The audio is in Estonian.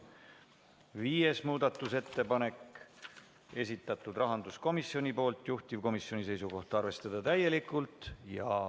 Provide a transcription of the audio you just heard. Viies muudatusettepanek, esitanud rahanduskomisjon, juhtivkomisjoni seisukoht on arvestada täielikult.